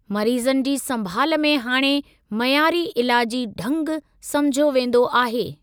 मरीज़नि जी संभाल में हाणे मइयारी इलाजी ढ़गु समुझियो वेंदो आहे।